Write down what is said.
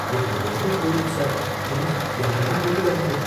என்னோட வேலை போயிரும், சார். பிளீஸ் யாரையும் கூப்பிடாதீங்க